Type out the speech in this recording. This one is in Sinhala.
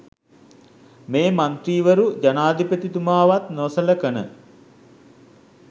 මේ මන්ත්‍රීවරු ජනාධිපතිතුමාවත් නොසලකන